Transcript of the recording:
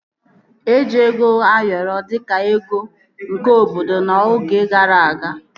Eji ego Ayoro dịka ego nke obodo n'oge gara aga